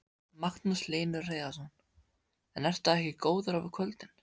Magnús Hlynur Hreiðarsson: En ertu ekki góður á kvöldin?